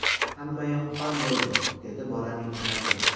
Hammayoq qon bo‘ldi”, dedi bolaning onasi.